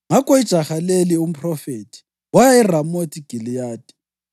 Ngakho ijaha leli, umphrofethi, waya eRamothi Giliyadi.